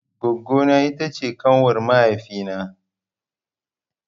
Goggo na ita ce ƙanwar mahaifi na.